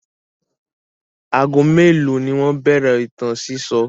Ago mélòó ni wọ́n bẹ̀rẹ̀ ìtàn sísọ?